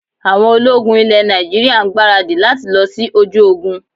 Àwọn ológun ilẹ̀ Nàìjíríà ń gbaradì lati lọ sí ojú ogun